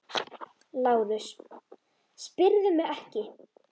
LÁRUS: Spyrðu mig ekki!